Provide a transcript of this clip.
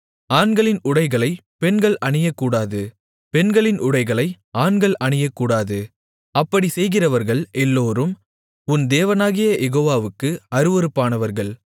ஆண்களின் உடைகளை பெண்கள் அணியக்கூடாது பெண்களின் உடைகளை ஆண்கள் அணியக்கூடாது அப்படிச் செய்கிறவர்கள் எல்லோரும் உன் தேவனாகிய யெகோவாவுக்கு அருவருப்பானவர்கள்